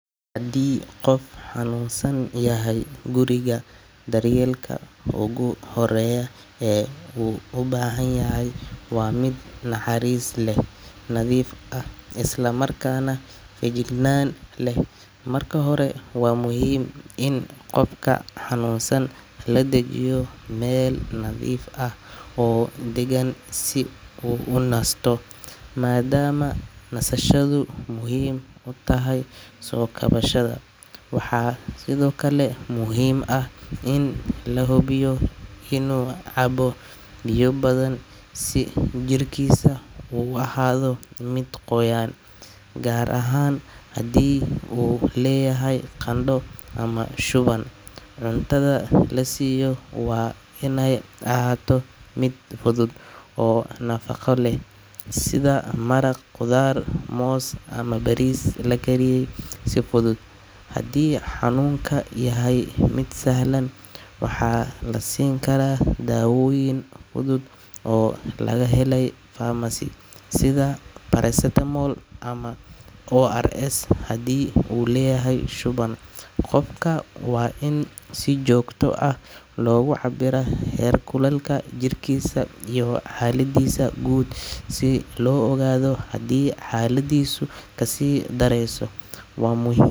Haddii qof xanuunsan yahay guriga, daryeelka ugu horreeya ee uu u baahan yahay waa mid naxariis leh, nadiif ah, isla markaana feejignaan leh. Marka hore, waa muhiim in qofka xanuunsan la dejiyo meel nadiif ah oo deggan si uu u nasto, maadaama nasashadu muhiim u tahay soo kabashada. Waxaa sidoo kale muhiim ah in la hubiyo inuu cabbo biyo badan si jirkiisa u ahaado mid qoyan, gaar ahaan haddii uu leeyahay qandho ama shuban. Cuntada la siiyo waa inay ahaato mid fudud oo nafaqo leh sida maraq khudaar, moos ama bariis la kariyay si fudud. Haddii xanuunku yahay mid sahlan, waxaa la siin karaa dawooyin fudud oo laga helay pharmacy, sida paracetamol ama ORS haddii uu leeyahay shuban. Qofka waa in si joogto ah loogu cabbiraa heerkulka jirkiisa iyo xaaladiisa guud si loo ogaado haddii xaaladdiisu kasii dareyso. Waa muhib.